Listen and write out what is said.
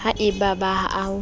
ha e ba ha o